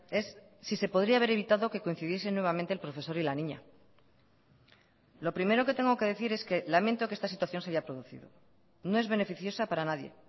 es si se podría haber evitado que coincidiesen nuevamente el profesor y la niña lo primero que tengo que decir es que lamento que esta situación se haya producido no es beneficiosa para nadie